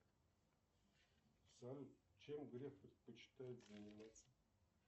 салют чем греф предпочитает заниматься